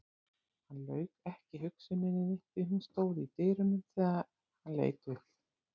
Hann lauk ekki hugsuninni því hún stóð í dyrunum þegar hann leit upp.